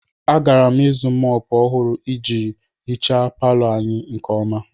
Agara m ịzụ mòpu ọhụrụ iji hichaa palọ anyị nke ọma